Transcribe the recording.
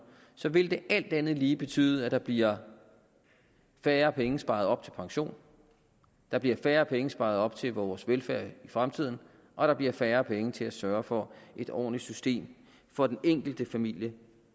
vil det alt andet lige betyde at der bliver færre penge sparet op til pension der bliver færre penge sparet op til vores velfærd i fremtiden og der bliver færre penge til at sørge for et ordentligt system for den enkelte familie